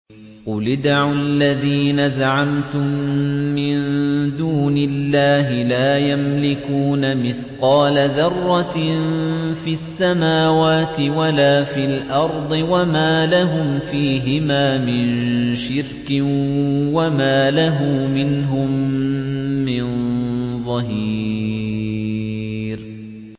قُلِ ادْعُوا الَّذِينَ زَعَمْتُم مِّن دُونِ اللَّهِ ۖ لَا يَمْلِكُونَ مِثْقَالَ ذَرَّةٍ فِي السَّمَاوَاتِ وَلَا فِي الْأَرْضِ وَمَا لَهُمْ فِيهِمَا مِن شِرْكٍ وَمَا لَهُ مِنْهُم مِّن ظَهِيرٍ